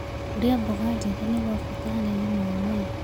Kũrĩa mmboga njĩthĩ nĩ gwa bata harĩ ũgima wa mwĩrĩ